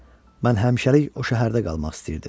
Mən həmişəlik o şəhərdə qalmaq istəyirdim.